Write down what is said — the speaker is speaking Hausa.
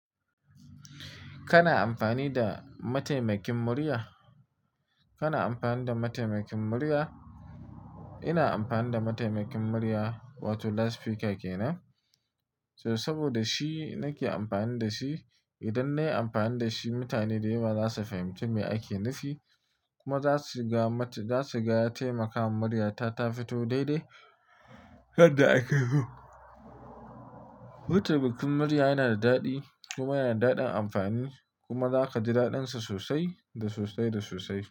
Kana amfani da mataimakin murya? Kana amfani da mataimakin murya? Ina amfani da mataimakin murya wato Loud Speaker ke nan. So saboda shi nake amfani da shi. Idan nayi amfani da shi, mutane dayawa za su fahimci me ake nufi kuma za su ga mata za su ga ya taimaka wa muryata ta fito daidai yadda aka yi. Mataimakin murya yana da daɗi kuma yana da daɗin amfani kuma za ka ji daɗansa sosai da sosai da sosai.